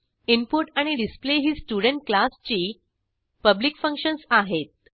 input आणि display ही student क्लासची पब्लिक फंक्शन्स आहेत